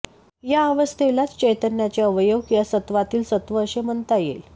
या अवस्थेलाच चैतन्याचे अवयव किवा सत्वातील सत्व असे म्हणता येईल